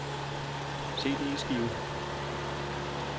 CD-skive